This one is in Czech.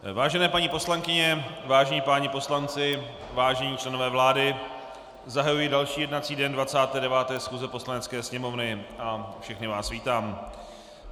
Vážené paní poslankyně, vážení páni poslanci, vážení členové vlády, zahajuji další jednací den 29. schůze Poslanecké sněmovny a všechny vás vítám.